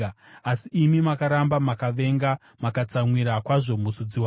Asi imi makaramba, makavenga, makatsamwira kwazvo muzodziwa wenyu.